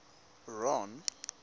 ron